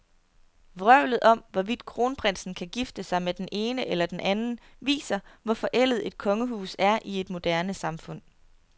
Vrøvlet om, hvorvidt kronprinsen kan gifte sig med den ene eller den anden, viser, hvor forældet et kongehus er i et moderne samfund.